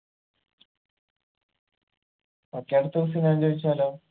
okay അടുത്ത question ഞാൻ ചോയിച്ചാലോ